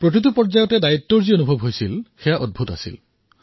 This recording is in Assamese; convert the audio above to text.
প্ৰতিটো পৰ্যায়ত দায়িত্বৰ অনুভূতি হোৱা প্ৰকট হল